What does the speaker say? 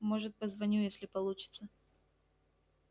может позвоню если получится